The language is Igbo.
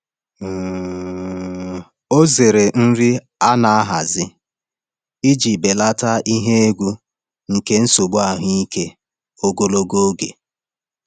um Ọ zere nri a na-ahazi iji belata ihe egwu nke nsogbu ahụike ogologo oge.